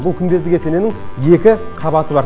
бұл күмбезді кесененің екі қабаты бар